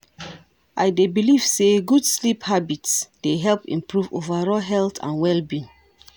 I dey believe say good sleep habits dey help improve overall health and well-being.